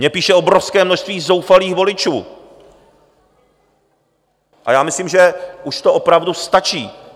Mně píše obrovské množství zoufalých voličů a já myslím, že už to opravdu stačí.